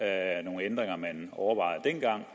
at nogle ændringer som man overvejede dengang